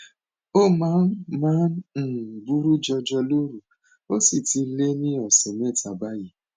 ó máa máa ń um buruú jọjọ lóru ó sì ti lé ní ọsẹ mẹta báyìí